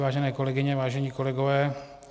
Vážené kolegyně, vážení kolegové.